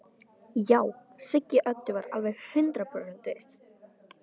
Já, Siggi Öddu var alveg hundrað prósent viss.